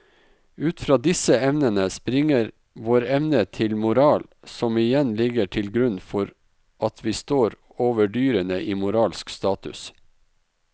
Ut fra disse evnene springer vår evne til moral som igjen ligger til grunn for at vi står over dyrene i moralsk status.